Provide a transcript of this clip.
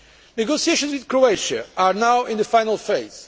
Negotiations with Croatia are now in the final